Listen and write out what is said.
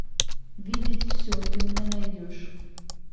видеть все ты мне найдешь